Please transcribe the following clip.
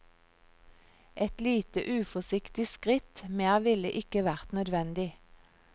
Et lite uforsiktig skritt, mer ville ikke vært nødvendig.